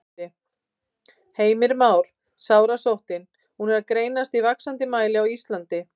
Heimir Már: Sárasóttin, hún er að greinast í vaxandi mæli á Íslandi?